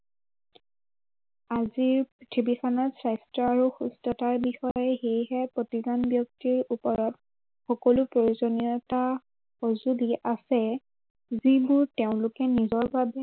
আজি পৃথিৱীখনত স্বাস্থ্য় আৰু সুস্থতাৰ বিষয়ে সেয়েহে প্ৰতিজন ব্য়ক্তিৰ ওপৰত সকলো প্ৰয়োজনীয়তা সঁজুলি আছে, যিবোৰ তেওঁলোকে নিজৰ বাবে